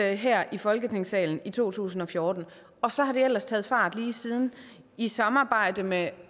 her i folketingssalen i to tusind og fjorten og så har det ellers taget fart lige siden i samarbejde med